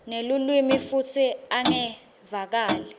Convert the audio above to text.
nelulwimi futsi ungevakali